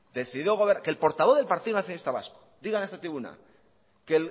que el portavoz del partido nacionalista vasco diga en esta tribuna que